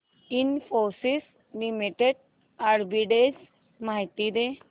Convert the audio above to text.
Infosys limited arbitrage माहिती दे